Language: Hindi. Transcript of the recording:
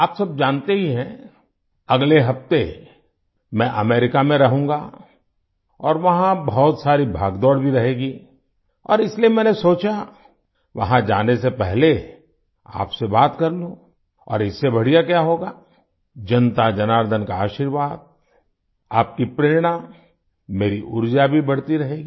आप सब जानते ही हैं अगले हफ्ते मैं अमेरिका में रहूँगा और वहाँ बहुत सारी भागदौड़ भी रहेगी और इसलिए मैंने सोचा वहाँ जाने से पहले आपसे बात कर लूँ और इससे बढ़िया क्या होगा जनताजनार्दन का आशीर्वाद आपकी प्रेरणा मेरी ऊर्जा भी बढ़ती रहेगी